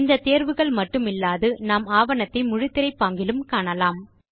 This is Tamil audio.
இந்த தேர்வுகள் மட்டுமில்லாது நாம் ஆவணத்தை முழுத்திரை பாங்கிலும் காணலாம்